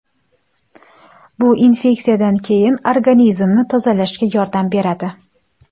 Bu infeksiyadan keyin organizmni tozalashga yordam beradi .